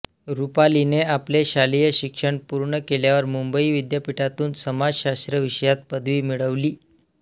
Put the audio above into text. रुपालीने आपले शालेय शिक्षण पूर्ण केल्यावर मुंबई विद्यापीठातून समाजशास्त्र विषयात पदवी मिळविली